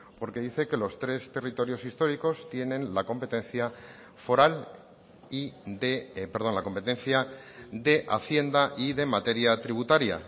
porque dice que los tres territorios históricos tienen la competencia de hacienda y de materia tributaria